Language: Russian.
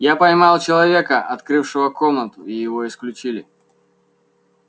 я поймал человека открывшего комнату и его исключили